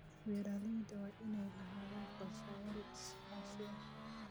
Beeralayda waa inay lahaadaan qorshayaal iskaashi.